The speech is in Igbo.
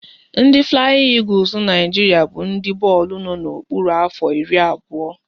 Ndị Flayin Egules Naijiria bụ ndị bọọlụ no na-okpuru afọ iri abụọ